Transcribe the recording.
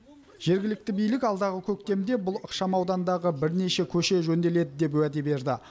жергілікті билік алдағы көктемде бұл ықшамаудандағы бірнеше көше жөнделеді деп уәде берді